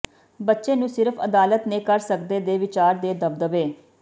ਬੱਚੇ ਨੂੰ ਸਿਰਫ ਅਦਾਲਤ ਨੇ ਕਰ ਸਕਦੇ ਦੇ ਵਿਚਾਰ ਦੇ ਦਬਦਬੇ